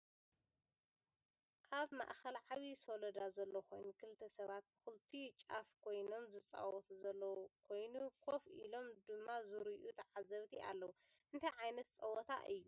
ኣብ ማእከል ዓብይ ሰሎዳ ዘሎ ኮይኑ ክልተ ሰባት ብክልቲኡ ጫፍ ኮይኖም ዝፃወቱ ዘለው ኮይኑ ከፍ ኢሎም ድማ ዝርእዩ ተዓዘብቲ ኣለው። እንታይ ዓይነት ፀወታ እዩ?